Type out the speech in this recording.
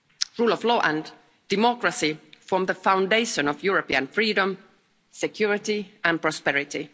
Rule of law and democracy form the foundation of European freedom, security and prosperity.